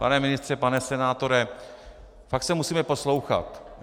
Pane ministře, pane senátore, fakt se musíme poslouchat.